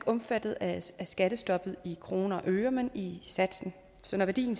omfattet af skattestoppet i kroner og øre men i satsen så når værdien